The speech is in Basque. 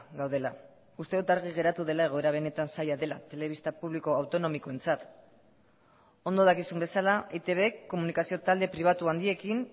gaudela uste dut argi geratu dela egoera benetan zaila dela telebista publiko autonomikoentzat ondo dakizun bezala eitbk komunikazio talde pribatu handiekin